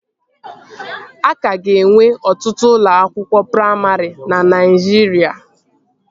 Aka ga-enwe ọtụtụ ụlọ akwụkwọ praimarị na Naijiria